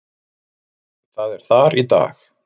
Það er þar í dag.